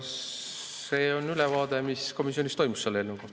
See on ülevaade, mis komisjonis selle eelnõuga toimus.